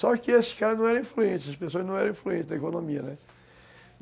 Só que esses caras não eram influentes, essas pessoas não eram influentes na economia, né?